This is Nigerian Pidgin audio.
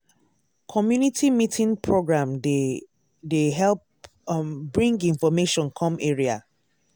community meeting program dey dey help um bring information come area.